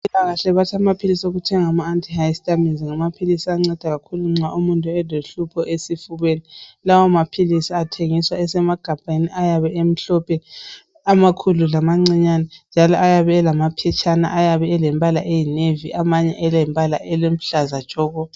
Kahle bathi ama antihistamines, Ngamaphilisi anceda kakhulu nxa umuntu elohlupho esifubeni. Lawamaphilisi athengiswa esemagabheni , ayabe emhlophe. Amakhulu lamancinyane., njalo ayabe elamaphetshana. Ayabe elombala oyi navy. Amanye ayabe elombala oluhlaza tshoko!